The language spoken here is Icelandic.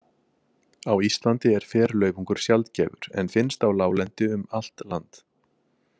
Á Íslandi er ferlaufungur sjaldgæfur en finnst á láglendi um allt land.